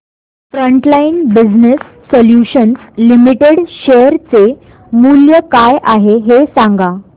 frontline Business Solutions Limited share चे मूल्य काय आहे हे सांगा